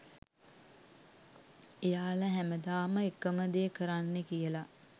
එයාලා හැමදාම එකම දේ කරන්නේ කියලා